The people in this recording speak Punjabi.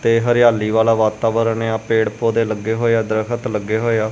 ਤੇ ਹਰਿਆਲੀ ਵਾਲਾ ਵਾਤਾਵਰਨ ਪੇੜ ਪੋਦੇ ਲੱਗੇ ਹੋਏ ਆ ਦਰਖਤ ਲੱਗੇ ਹੋਏ ਆ।